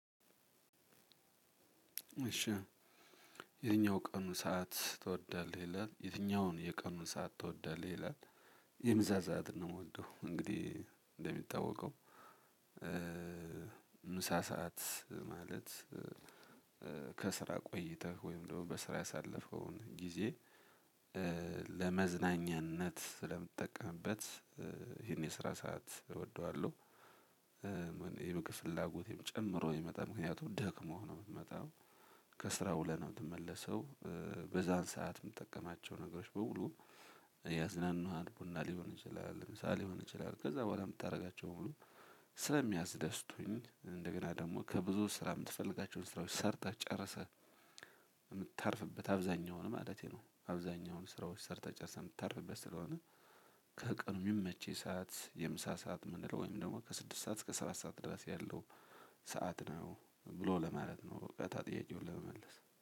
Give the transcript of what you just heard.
እሽ የትኛውን የቀን ሰዓትን ትወዳለህ ይላል? የምሳ ሰዓትን ነው የምወደው። እንደሚታወቀው ምሳ ሰዓት ማለት ከስራ ቆይተህ ወይም ደግሞ በስራ ያሳለፈውን ጊዜ ለመዝናኛነት ስለምትጠቀምበት ይህን የስራ ሰዓት እወደዋለሁ። የምግብ ፍላጎቴም ጨምሮ ይመጣል ምክንያቱም ደክሞህ ነው የምትመጣው። ከስራው ውለህ ነው የምትመለሰው። በዛን ሰዓት የምትጠቀማቸው ነገሮች በሙሉ ያዝናናል ቡና ሊሆን ይችላል። ምሳ ሊሆን ይችላል። ከዛ በኋላ የምታደርጋቸው ሁሉ ስለሚያስደስቱኝ እንደገና ደግሞ ከብዙም ስራ የምትፈልጋቸውን ስራዎች ሰርተህ ጨርሰህ የምታርፍበት አብዛኛው ሆነ ማለቴ ነው። አብዛኛውን ስራዎች ሰርተህ ጨርሰህ የምታርፍበት ስለሆነ ከቀኑ የሚመች ሰዓት የምሳ ሰዓት ምንድነው? ወይም ደግሞ ከስድስት ሰዓት እስከ ስራ ሰዓት ድረስ ያለው ሰዓት ነው ብሎ ለማለት ነው። እውቀት አለኝ ጥያቄውን ለመመለስ